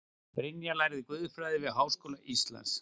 Brynja lærði guðfræði við Háskóla Íslands